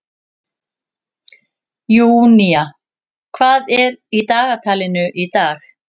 Júnía, hvað er í dagatalinu í dag?